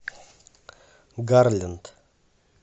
гарленд